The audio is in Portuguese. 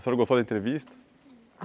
O senhor gostou da entrevista?